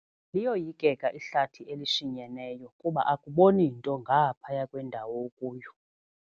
Liyoyikeka ihlathi elishinyeneyo kuba akuboni nto ngaphaya kwendawo okuyo.